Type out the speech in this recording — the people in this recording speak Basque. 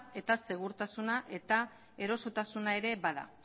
eta segurtasuna eta erosotasuna ere bada